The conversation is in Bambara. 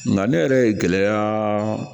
Nka ne yɛrɛ ye gɛlɛya